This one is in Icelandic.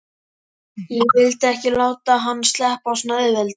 Ég vildi ekki láta hann sleppa svona auðveldlega.